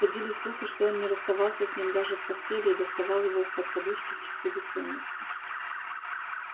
ходили слухи что он не расставался с ним даже в постели и доставал его из-под подушки в часы бессонницы